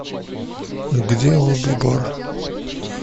где лобби бар